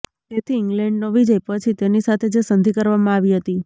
તેથી ઇગ્લેન્ડનો વિજય પછી તેની સાથે જે સંધિ કરવામાં આવી હતી